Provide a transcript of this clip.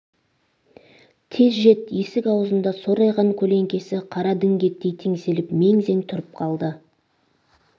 тез жет есік аузында сорайған көлеңкесі қара діңгектей теңселіп мең-зең тұрып қалды